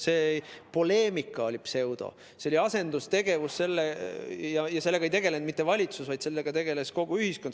See oli pseudopoleemika, see oli asendustegevus ja sellega ei tegelenud mitte valitsus, vaid sellega tegeles kogu ühiskond.